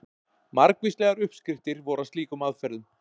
Margvíslegar uppskriftir voru að slíkum aðferðum.